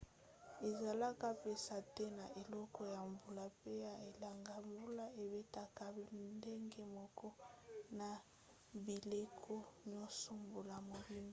ezalaka mpenza te na eleko ya mbula mpe ya elanga mbula ebetaka ndenge moko na bileko nyonso mbula mobimba